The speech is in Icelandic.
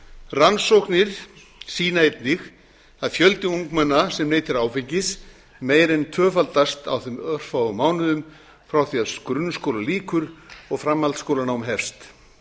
rannsóknir sýna einnig að fjöldi ungmenna sem neytir áfengis meira en tvöfaldast á þeim örfáu mánuðum frá því að grunnskóla lýkur og framhaldsskólanám hefst